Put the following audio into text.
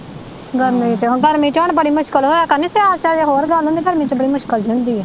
ਗਰਮੀ ਚ ਹੁਣ ਬੜੀ ਮੁਸ਼ਕਿਲ ਹੋਇਆ ਕਰਨੀ ਸਿਆਲ ਚ ਅਜੇ ਹੋਰ ਗੱਲ ਹੁੰਦੀ ਗਰਮੀ ਚ ਤਾ ਬੜੀ ਜਿਹੀ ਹੁੰਦੀ ਆ।